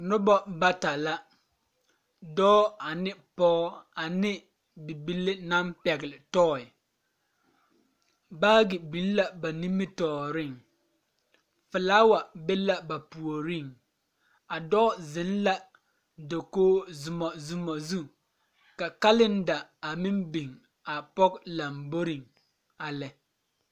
Noba bata la dɔɔ ane pɔɡe ane bibile naŋ pɛɡele tɔɛ baaɡe biŋ la ba nimitɔɔreŋ felaawa be la ba puoriŋ a dɔɔ zeŋ la dakoɡi zumɔzumɔ zu ka kaleda a meŋ biŋ a pɔɡe lamboriŋ a lɛ.